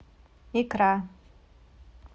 икра